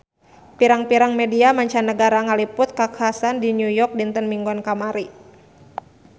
Pirang-pirang media mancanagara ngaliput kakhasan di New York dinten Minggon kamari